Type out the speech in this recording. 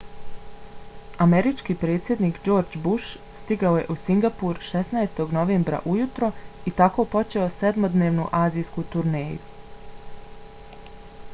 američki predsjednik george w. bush stigao je u singapur 16. novembra ujutro i tako počeo sedmodnevnu azijsku turneju